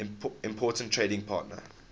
important trading partner